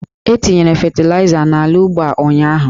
E tinyere fetịlaịza n'ala ugbo a ụnyaahụ.